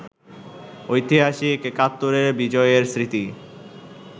ঐতিহাসিক একাত্তরের বিজয়ের স্মৃতি